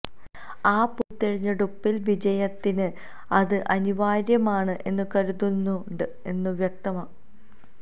ആ പൊതുതിരഞ്ഞെടുപ്പില് വിജയത്തിന് അത് അനിവാര്യമാണ് എന്നും കരുതുന്നുണ്ട് എന്ന് വ്യക്തം